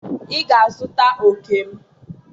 ị ga-azụta òkè m?